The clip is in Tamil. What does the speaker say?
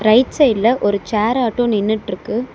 ரைட் சைடுல ஒரு சேர் ஆட்டோ நின்னுட்ருக்கு.